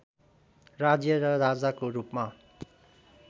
राज्य र राजाको रूपमा